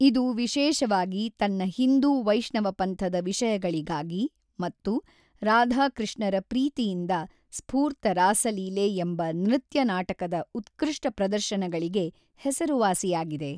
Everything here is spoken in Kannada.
ಇದು ವಿಶೇಷವಾಗಿ ತನ್ನ ಹಿಂದೂ ವೈಷ್ಣವಪಂಥದ ವಿಷಯಗಳಿಗಾಗಿ ಮತ್ತು ರಾಧಾ-ಕೃಷ್ಣರ ಪ್ರೀತಿಯಿಂದ ಸ್ಫೂರ್ತ ರಾಸಲೀಲೆ ಎಂಬ ನೃತ್ಯ ನಾಟಕದ ಉತ್ಕೃಷ್ಟ ಪ್ರದರ್ಶನಗಳಿಗೆ ಹೆಸರುವಾಸಿಯಾಗಿದೆ.